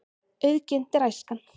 Auðginnt er æskan.